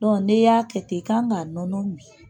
Dɔn n'e y'a kɛ ten i kan ka nɔnɔ min.